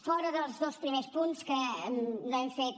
fora dels dos primers punts que no hem fet